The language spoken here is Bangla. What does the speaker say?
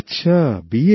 আচ্ছা বিএ